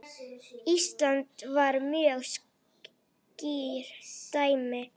Ísland var mjög skýrt dæmi.